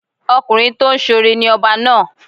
Ọkùnrin tó ń ṣoore ni ọba náà.